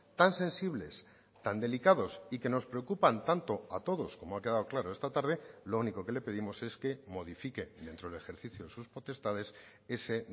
tan sensibles tan delicados y que nos preocupan tanto a todos como ha quedado claro esta tarde lo único que le pedimos es que modifique dentro del ejercicio sus potestades ese